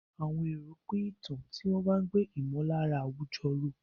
Àwọn èrò pín ìtàn, tí wọ́n ń gbé ìmọ̀lára àwùjọ ró.